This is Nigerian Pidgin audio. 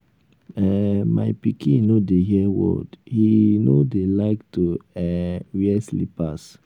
um my pikin no dey hear word he um no dey like to um wear slippers